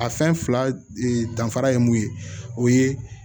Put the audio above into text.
A fɛn fila danfara ye mun ye o ye